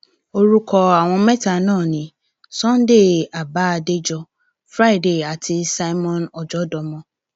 orúkọ àwọn mẹta náà ni sunday abah adéjọ friday àti simeon ọjọdọmọ